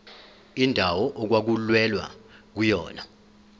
indawo okwakulwelwa kuyona